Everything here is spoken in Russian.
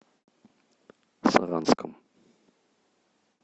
саранском